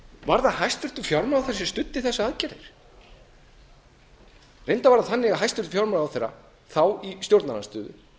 var það hæstvirtur fjármálaráðherra sem studdi þessar aðgerðir reyndar var það þannig að hæstvirtur fjármálaráðherra þá í stjórnarandstöðu